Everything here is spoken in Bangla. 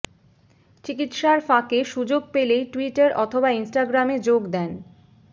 চিকিৎসার ফাঁকে সুযোগ পেলেই টুইটার অথবা ইনস্টাগ্রামে যোগ দেন